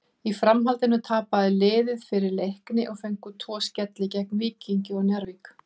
Í framhaldinu tapaði liðið fyrir Leikni og fengu tvo skelli gegn Víkingi og Njarðvík.